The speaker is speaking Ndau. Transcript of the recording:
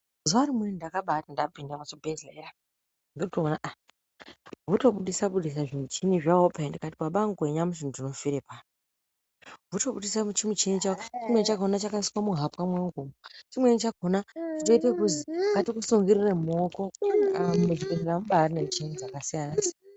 Zuwa rimweni ndakabati ndapinde muchibhedhleya ndotoona aaa votobudise budise zvimuchini zvawo pee ndikati baba anguwe nyamushi ndinofire pano votobudise chimuchini chawo chimwrni chakhona chakaiswe muhapwa mwangu umwu chimweni chakhona chakazi ngatikusungirire mumaoko ii haa muzvibhedhlera mubari ne muchini dzakasiyana siyana.